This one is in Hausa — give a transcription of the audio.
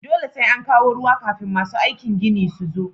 Dole sai an kawo ruwa kafin masu aikin ginin su zo